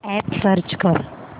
app search कर